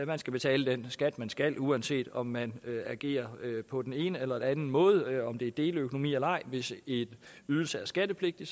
man skal betale den skat man skal uanset om man agerer på den ene eller den anden måde om det er deleøkonomi eller ej hvis en ydelse er skattepligtig